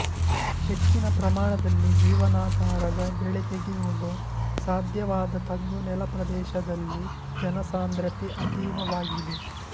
ಹೆಚ್ಚಿನ ಪ್ರಮಾಣದಲ್ಲಿ ಜೀವನಾಧಾರದ ಬೆಳೆ ತೆಗೆಯುವುದು ಸಾಧ್ಯವಾದ ತಗ್ಗು ನೆಲಪ್ರದೇಶದಲ್ಲಿ ಜನಸಾಂದ್ರತೆ ಅತೀವವಾಗಿದೆ